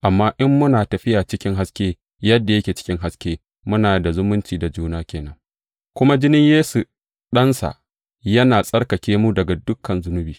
Amma in muna tafiya cikin haske, yadda yake cikin haske, muna da zumunci da juna ke nan, kuma jinin Yesu, Ɗansa, yana tsarkake mu daga dukan zunubi.